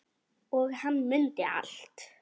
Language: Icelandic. Og hann mundi allt.